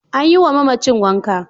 An yiwa mamacin wanka.